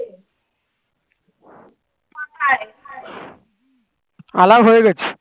আলাও হয়ে গেছি